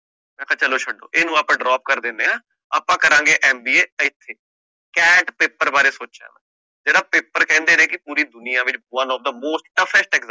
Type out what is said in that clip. ਮੈਂ ਕਹ ਚੱਲੋ ਛੱਡੋ ਇਹਨੂੰ ਆਪਾ drop ਕਰ ਦਿੰਦੇ ਆ ਆਪਾ ਕਰਾਂਗੇ MBA ਇਥੇ ਘੈਂਟ paper ਬਾਰੇ ਸੋਚਣਾ ਜੇਹੜਾ paper ਕਹਿੰਦੇ ਨੇ ਕਿ ਪੂਰੀ ਦੁਨੀਆਂ ਦੇ ਵਿੱਚ one of the most toughest exam